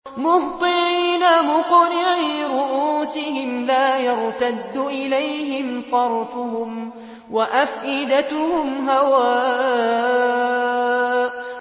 مُهْطِعِينَ مُقْنِعِي رُءُوسِهِمْ لَا يَرْتَدُّ إِلَيْهِمْ طَرْفُهُمْ ۖ وَأَفْئِدَتُهُمْ هَوَاءٌ